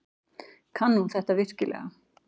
Kann hún þetta virkilega?